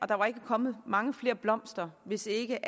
der ikke var kommet mange flere blomster hvis ikke